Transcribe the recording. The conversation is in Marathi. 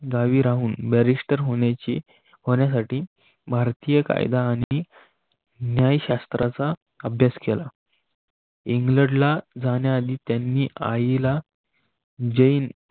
गावी राहून बॅरिस्टर होण्याची होण्यासाठी भारतीय कायदा आणि न्यायशास्त्राचा अभ्यास केला. इंग्लंड जाण्या आधी त्यांनी आई ला जैन